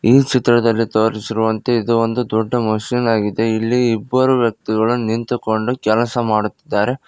ಈ ಚಿತ್ರದಲ್ಲಿ ತೋರಿಸಿರುವಂತೆ ಇದು ಒಂದು ದೊಡ್ಡ ಮಷೀನ್ ಆಗಿದೆ ಇಲ್ಲಿ ಇಬ್ಬರು ವ್ಯಕ್ತಿಗಳು ನಿಂತುಕೊಂಡು ಕೆಲಸ ಮಾಡುತ್ತಿದ್ದಾರೆ.